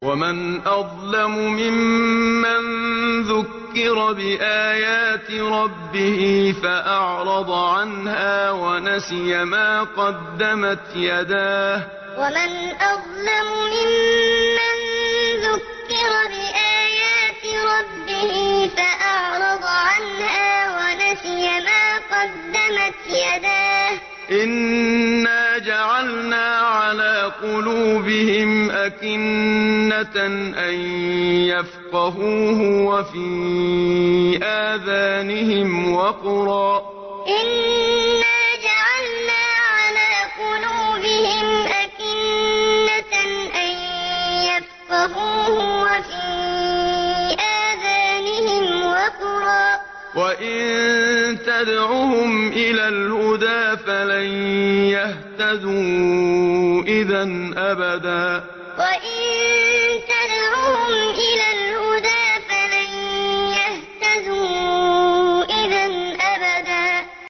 وَمَنْ أَظْلَمُ مِمَّن ذُكِّرَ بِآيَاتِ رَبِّهِ فَأَعْرَضَ عَنْهَا وَنَسِيَ مَا قَدَّمَتْ يَدَاهُ ۚ إِنَّا جَعَلْنَا عَلَىٰ قُلُوبِهِمْ أَكِنَّةً أَن يَفْقَهُوهُ وَفِي آذَانِهِمْ وَقْرًا ۖ وَإِن تَدْعُهُمْ إِلَى الْهُدَىٰ فَلَن يَهْتَدُوا إِذًا أَبَدًا وَمَنْ أَظْلَمُ مِمَّن ذُكِّرَ بِآيَاتِ رَبِّهِ فَأَعْرَضَ عَنْهَا وَنَسِيَ مَا قَدَّمَتْ يَدَاهُ ۚ إِنَّا جَعَلْنَا عَلَىٰ قُلُوبِهِمْ أَكِنَّةً أَن يَفْقَهُوهُ وَفِي آذَانِهِمْ وَقْرًا ۖ وَإِن تَدْعُهُمْ إِلَى الْهُدَىٰ فَلَن يَهْتَدُوا إِذًا أَبَدًا